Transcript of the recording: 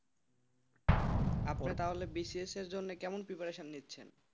আপনি তাহলে B C S জন্য কেমন preparation নিচ্ছেন।